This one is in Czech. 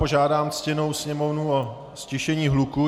Požádám ctěnou Sněmovnu o ztišení hluku.